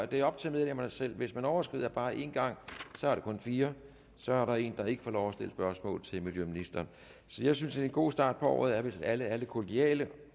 det er op til medlemmerne selv hvis man overskrider bare en gang så er det kun fire og så er der en der ikke får lov at stille spørgsmål til miljøministeren så jeg synes at en god start på året er hvis alle er lidt kollegiale